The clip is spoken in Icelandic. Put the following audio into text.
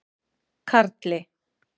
Karli